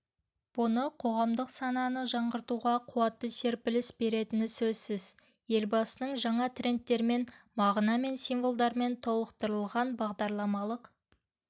бұның қоғамдық сананы жаңғыртуға қуатты серпіліс беретіні сөзсіз елбасының жаңа трендтермен мағына мен символдармен толықтырылған бағдарламалық